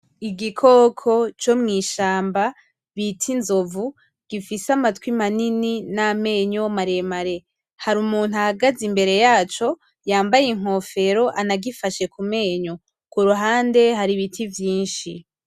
Igikoko co mw'ishamba bita inzovu gifise amatwi manini n’amenyo maremare ,hari umuntu ahagaze imbere yaco yambaye inkofero anagifashe ku menyo ku ruhande hari ibiti vyinshi.